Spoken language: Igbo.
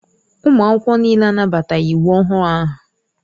Ụmụ akwụkwọ niile anabataghị iwu ọhụrụ ahụ.